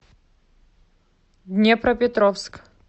днепропетровск